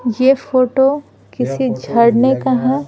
ये फोटो किसी झरने का है।